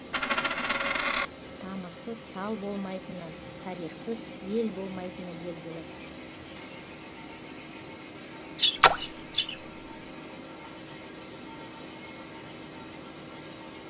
тамырсыз тал болмайтыны тарихсыз ел болмайтыны белгілі